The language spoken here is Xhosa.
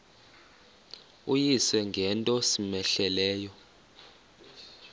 uyise ngento cmehleleyo